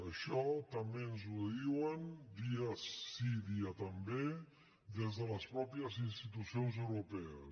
això tam·bé ens ho diuen dia sí dia també des de les mateixes institucions europees